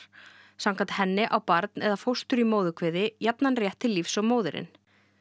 samkvæmt henni á barn eða fóstur í móðurkviði jafnan rétt til lífs og móðirin